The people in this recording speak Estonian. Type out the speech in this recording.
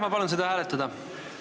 Ma palun seda hääletada!